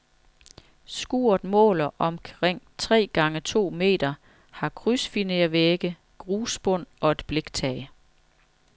Skuret måler omkring tre gange to meter, har krydsfinervægge, grusbund og et bliktag.